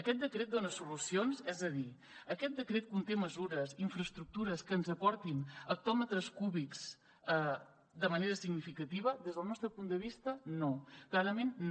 aquest decret dona solucions és a dir aquest decret conté mesures i infraestructures que ens aportin hectòmetres cúbics de manera significativa des del nostre punt de vista no clarament no